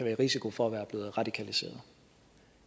i risiko for at være blevet radikaliseret